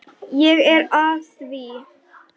Ég er að því.